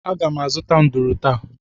Aga m azụta nduru taa